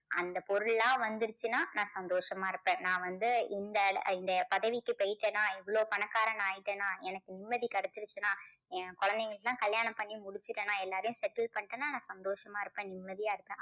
அந்தப் பொருளெல்லாம் வந்துருச்சுன்னா நான் சந்தோஷமா இருப்பேன் நான் வந்து இந்த இந்த பதவிக்கு போயிட்டேன்னா இவ்வளோ பணக்காரனா ஆயிட்டேன்னா எனக்கு நிம்மதி கிடைச்சிருச்சுன்னா என் குழந்தைகளுக்கு எல்லாம் கல்யாணம் பண்ணி முடிச்சிட்டேன்னா எல்லாரையும் settle பண்ணிட்டேன்னா நான் சந்தோஷமா இருப்பேன் நிம்மதியா இருப்பேன்.